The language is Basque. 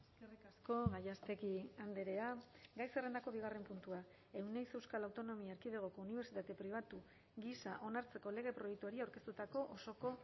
eskerrik asko gallástegui andrea gai zerrendako bigarren puntua euneiz euskal autonomia erkidegoko unibertsitate pribatu gisa onartzeko lege proiektuari aurkeztutako osoko